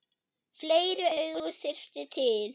Fleiri augu þyrfti til.